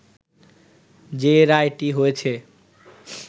যে রায়টি হয়েছে